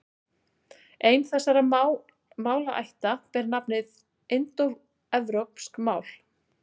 Ein þessara málaætta ber nafnið indóevrópsk mál.